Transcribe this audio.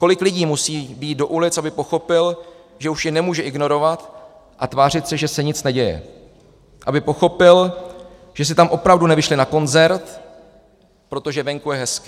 Kolik lidí musí vyjít do ulic, aby pochopil, že už je nemůže ignorovat a tvářit se, že se nic neděje, aby pochopil, že si tam opravdu nevyšli na koncert, protože venku je hezky?